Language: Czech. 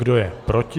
Kdo je proti?